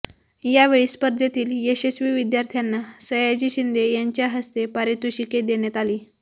या वेळी स्पर्धेतील यशस्वी विद्यार्थ्यांना सयाजी शिंदे यांच्या हस्ते पारितोषिके देण्यात आली